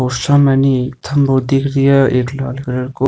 और सामने एक खम्भों दिख रे है एक लाल कलर को।